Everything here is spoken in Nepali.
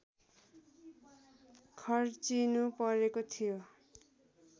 खर्चिनुपरेको थियो